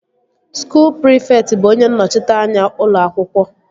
Skuul prịfekt bụ onye nnọchiteanya ụlọ akwụkwọ